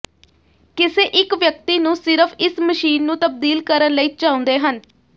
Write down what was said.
ਕਿਸੇ ਇੱਕ ਵਿਅਕਤੀ ਨੂੰ ਸਿਰਫ਼ ਇਸ ਮਸ਼ੀਨ ਨੂੰ ਤਬਦੀਲ ਕਰਨ ਲਈ ਚਾਹੁੰਦੇ ਹਨ